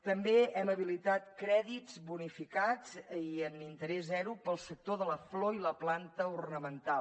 també hem habilitat crèdits bonificats i amb interès zero per al sector de la flor i la planta ornamental